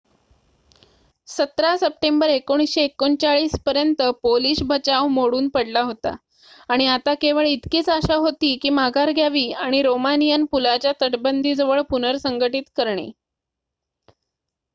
17 September 1939 पर्यंत Polish बचाव मोडून पडला होता आणि आता केवळ इतकीच आशा होती की माघार घ्यावी आणि रोमानियन पुलाच्या तटबंदीजवळ पुनरसंघटीत करणे